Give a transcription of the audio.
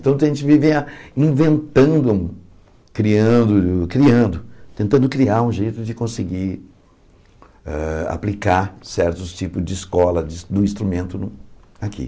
Então inventando, criando, criando, tentando criar um jeito de conseguir ah aplicar certos tipos de escola do instrumento aqui.